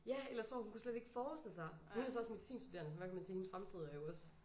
Ja eller jeg tror hun kan slet ikke forestille sig hun er så også medicinstuderende så hvad kan man sige hendes fremtid er jo også